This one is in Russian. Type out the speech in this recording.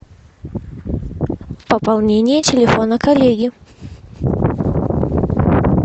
пополнение телефона коллеги